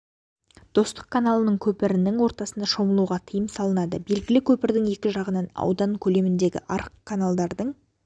достық каналының көпірінің ортасына шомылуға тыйым салынады белгі көпірдің екі жағынан аудан көлеміндегі арық каналдардың